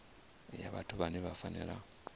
ya vhathu vhane vha fanela